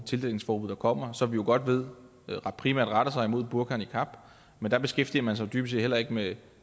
tildækningsforbud der kommer som vi jo godt ved primært retter sig imod burka og niqab men der beskæftiger man sig jo dybest set heller ikke med